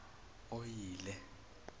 oyile